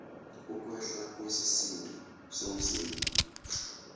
ukwehla kwesisindo somzimba